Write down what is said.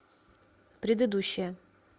предыдущая